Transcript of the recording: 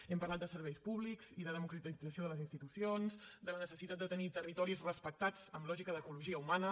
hem parlat de serveis públics i de democratització de les institucions de la necessitat de tenir territoris respectats amb lògica d’ecologia humana